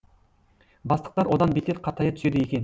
бастықтар одан бетер қатая түседі екен